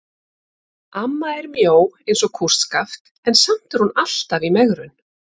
Amma er mjó eins og kústskaft en samt er hún alltaf í megrun.